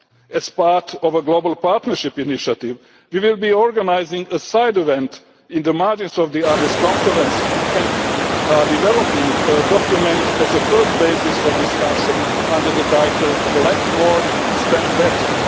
path. As part of a global partnership initiative, we will be organising a side event on the margins of the Addis conference and are developing a document as a first basis for discussion under the title Collect More Spend Better'.